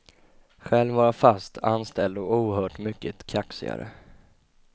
Själv var jag fast anställd och oerhört mycket kaxigare.